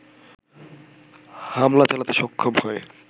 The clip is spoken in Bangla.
হামলা চালাতে সক্ষম হয়